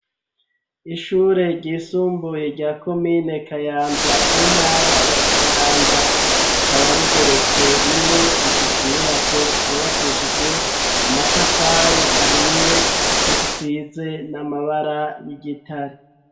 Ishure ry'isumbuye rya komine kayanza mu ntara ya kayanza rikaba rigeretse rimwe rifise inyubako zubakishijwe amatafari ahiye zisize n'amabara y'igitare.